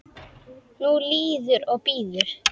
Nú líður og bíður.